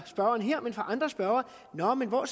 spørgeren her men af andre spørgere om hvor